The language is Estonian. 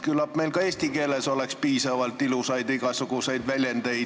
Küllap meil leiduks ka eesti keeles piisavalt igasuguseid ilusaid väljendeid.